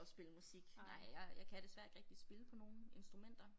At spille musik nej jeg jeg kan desværre ikke rigtig spille på nogen instrumenter